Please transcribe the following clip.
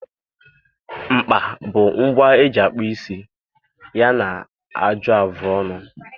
Mkpa bụ ngwa eji akpụ isi ya na ajụ afụ ọnụ.